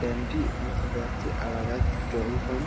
ደንቢ መኽበርቲ ኣባላት ዶ ይኾኑ?